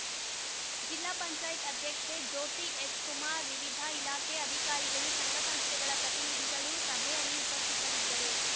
ಜಿಲ್ಲಾ ಪಂಚಾಯತ್‌ ಅಧ್ಯಕ್ಷೆ ಜ್ಯೋತಿ ಎಸ್‌ಕುಮಾರ್‌ ವಿವಿಧ ಇಲಾಖೆ ಅಧಿಕಾರಿಗಳು ಸಂಘ ಸಂಸ್ಥೆಗಳ ಪ್ರತಿನಿಧಿಗಳು ಸಭೆಯಲ್ಲಿ ಉಪಸ್ಥಿತರಿದ್ದರು